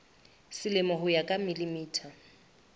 selemo ho ya ka mm